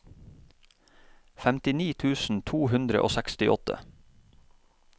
femtini tusen to hundre og sekstiåtte